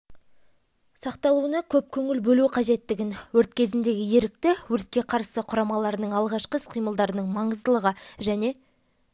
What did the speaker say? сақталуына көп көңіл бөлу қажеттігін өрт кезіндегі ерікті өртке қарсы құрамаларының алғашқы іс-қимылдарының маңыздылығы және